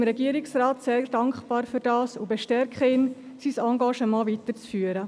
Wir sind dem Regierungsrat sehr dankbar dafür und bestärken ihn darin, sein Engagement weiterzuführen.